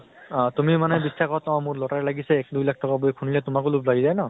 মানে । অ তুমি মানে অʼ মোৰ lottery লাগিছে, দুই লাখ টকা বুলি খুনিলে তোমাকো লোভ লাগি যায় ন ?